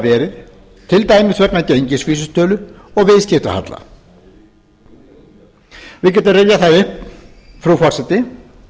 verið til dæmis vegna gengisvísitölu og viðskiptahalla við getum rifjað það upp frú forseti